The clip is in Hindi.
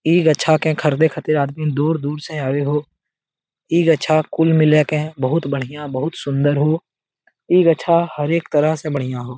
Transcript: इ गछा के खरदे खतिर आदमी दूर-दूर से आवे हो इ गछा कुल मिले के बहुत बढ़िया बहुत सुंदर हो इ गछा हर एक तरह से बढ़िया हो